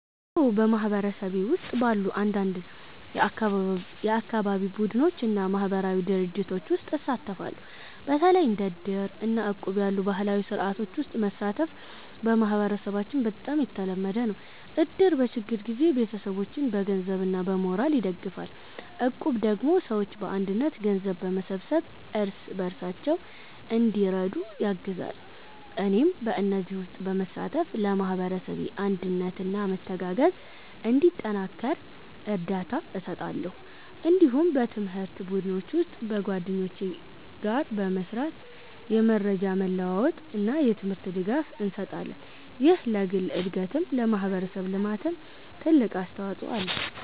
አዎ፣ በማህበረሰቤ ውስጥ ባሉ አንዳንድ የአካባቢ ቡድኖች እና ማህበራዊ ድርጅቶች ውስጥ እሳተፋለሁ። በተለይ እንደ እድር እና እቁብ ያሉ ባህላዊ ስርዓቶች ውስጥ መሳተፍ በማህበረሰባችን በጣም የተለመደ ነው። እድር በችግር ጊዜ ቤተሰቦችን በገንዘብ እና በሞራል ይደግፋል፣ እቁብ ደግሞ ሰዎች በአንድነት ገንዘብ በመሰብሰብ እርስ በርሳቸው እንዲረዱ ያግዛል። እኔም በእነዚህ ውስጥ በመሳተፍ ለማህበረሰቡ አንድነት እና መተጋገዝ እንዲጠናከር እርዳታ እሰጣለሁ። እንዲሁም በትምህርት ቡድኖች ውስጥ በጓደኞቼ ጋር በመስራት የመረጃ መለዋወጥ እና የትምህርት ድጋፍ እንሰጣለን። ይህ ለግል እድገትም ለማህበረሰብ ልማትም ትልቅ አስተዋጽኦ አለው።